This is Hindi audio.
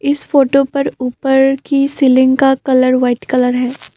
इस फोटो पर ऊपर की सीलिंग का कलर वाइट कलर है।